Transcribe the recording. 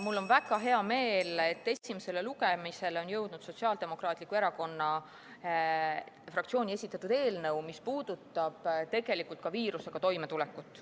Mul on väga hea meel, et esimesele lugemisele on jõudnud Sotsiaaldemokraatliku Erakonna fraktsiooni esitatud eelnõu, mis puudutab ka viirusega toimetulekut.